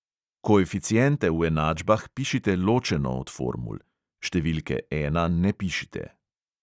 Koeficiente v enačbah pišite ločeno od formul (številke ena ne pišite).